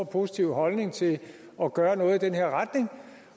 positiv holdning til at gøre noget i den her retning